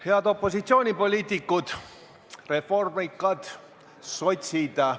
Head opositsioonipoliitikud – reformikad ja sotsid!